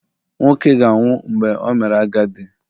Nwoke ga-anwụ mgbe o mere agadi